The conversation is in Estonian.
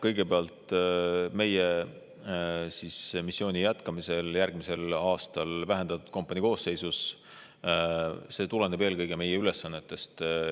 Kõigepealt, me jätkame missioonil järgmisel aastal vähendatud kompaniina, see tuleneb eelkõige meie ülesannetest.